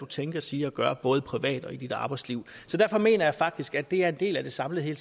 tænker siger og gør både privat og i ens arbejdsliv så derfor mener jeg faktisk at det er en del af det samlede hele